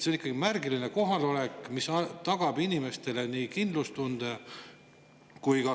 See on märgiline kohalolek, mis tagab inimestele kindlustunde.